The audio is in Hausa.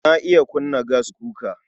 Na iya kunna gaskuka.